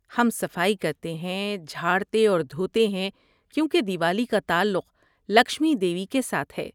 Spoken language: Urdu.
ہم صفائی کرتے ہیں، جھاڑتے اور دھوتے ہیں کیونکہ دیوالی کا تعلق لکشمی دیوی کے ساتھ ہے۔